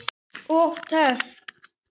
Dró mig fram.